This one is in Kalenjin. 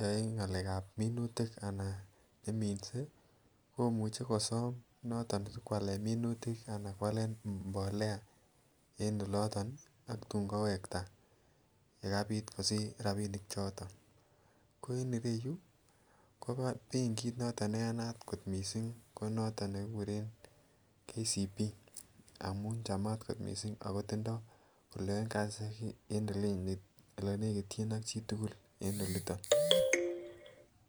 yae ngalekab minutik anan neminse, komuchi kosom noton sikwale minutik anan kwalen mbolea en oloton ang tun kowekta yekabit kosich rabiinik choton. Ko en ireu, ko benkit noton ne yanat kot mising ko noton nekikuren Kenya comercial Bank amun chamat kot mising ako tindoi elenekityin ak chi tugul en oliton.